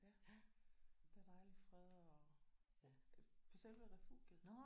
Ja der er dejlig fred og på selve refugiet